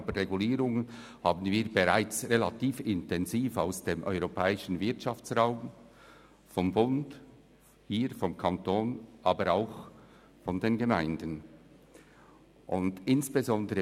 Aber wir werden zusätzlich bereits relativ intensiv mit Regulierungen aus dem europäischen Wirtschaftsraum, des Bundes und der Gemeinden konfrontiert.